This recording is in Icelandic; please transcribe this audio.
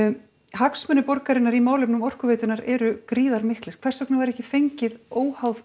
hagsmunir borgarinnar í málefnum Orkuveitunnar eru gríðar miklir hvers vegna var ekki fengið óháð